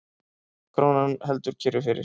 Krónan heldur kyrru fyrir